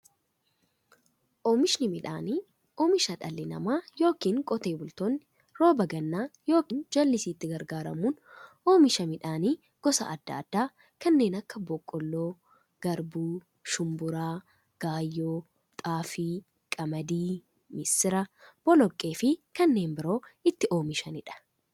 Oomishni midhaanii, oomisha dhalli namaa yookiin qotee otee bultoonni rooba gannaa yookiin jallisiitti gargaaramuun oomisha midhaan gosa adda addaa kanneen akka; boqqoolloo, garbuu, shumburaa, gaayyoo, xaafii, qamadii, misira, boloqqeefi kanneen biroo itti oomishamiidha.